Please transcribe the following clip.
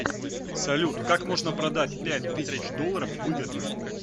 салют как можно продать пять тысяч долларов выгодно